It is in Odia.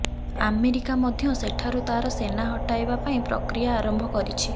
ଆମେରିକା ମଧ୍ୟ ସେଠାରୁ ତାର ସେନା ହଟାଇବା ପାଇଁ ପ୍ରକ୍ରିୟା ଆରମ୍ଭ କରିଛି